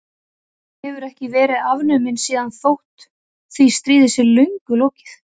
Hann hefur ekki verið afnuminn síðan þótt því stríði sé löngu lokið.